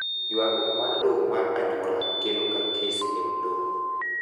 ywaruok mar lowo mar anyuola kelo ga kes e od doho